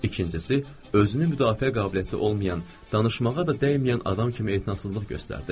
İkincisi, özünü müdafiə qabiliyyəti olmayan, danışmağa da dəyməyən adam kimi etinasızlıq göstərdi.